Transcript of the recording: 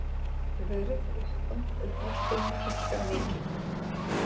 Verð jeppa og pallbíla hækkar mikið